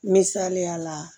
Misaliya la